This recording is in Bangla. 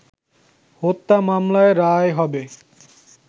হত্যা মামলার রায় হবে